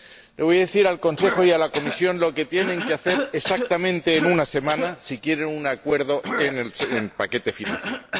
Les voy a decir al Consejo y a la Comisión lo que tienen que hacer exactamente en una semana, si quieren un acuerdo en el paquete financiero.